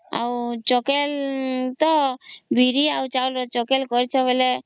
ଆଉ ଚକେଲ ତା ବିରି ଆଉ ଚାଉଳ ରେ ଚକେଲ କରିଛ ବେଳେ